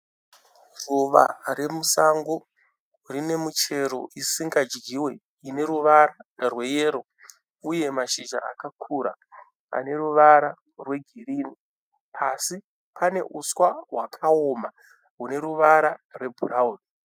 Ruva remusango rine michero isingadyiwe ine ruvara rweyero uye mashizha akakura ane ruvara rwegirinhi. Pasi pane uswa hwakaoma hune ruvara rwebhurawuni.